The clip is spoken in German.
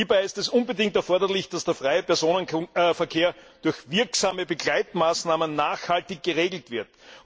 Es ist unbedingt erforderlich, dass der freie Personenverkehr durch wirksame Begleitmaßnahmen nachhaltig geregelt wird.